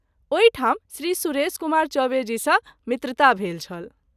ओहि ठाम श्री सुरेश कुमार चौबे जी सँ मित्रता भेल छल।